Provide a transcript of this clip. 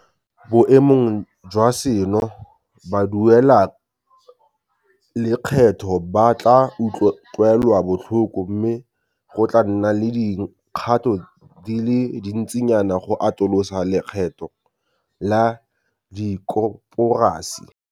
Boemong jwa seno, baduelalekgetho ba tla utlwelwa botlhoko mme go tla nna le dikgato di le dintsinyana go atolosa lekgetho la dikoporasi.